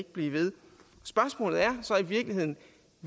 blive ved spørgsmålet er så i virkeligheden